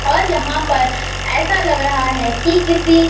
और यहां पर ऐसा लग रहा है कि किसी--